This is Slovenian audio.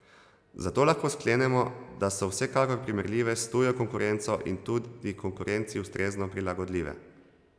Zato lahko sklenemo, da so vsekakor primerljive s tujo konkurenco in tudi konkurenci ustrezno prilagodljive.